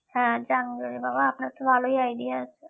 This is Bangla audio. হ্যাঁ junk jewellery বাবা আপনার তো ভালোই idea আছে